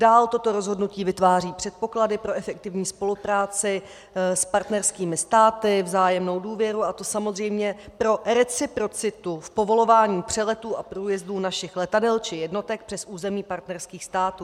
Dál toto rozhodnutí vytváří předpoklady pro efektivní spolupráci s partnerskými státy, vzájemnou důvěru, a to samozřejmě pro reciprocitu v povolování přeletů a průjezdů našich letadel či jednotek přes území partnerských států.